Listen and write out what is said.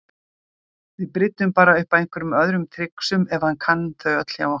Við bryddum bara upp á einhverjum öðrum trixum ef hann kann þau öll hjá okkur.